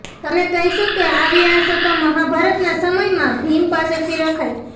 તમે કહેશો કે આવી આશા તો મહાભારતનાં સમયમાં ભીમ પાસેથી રખાય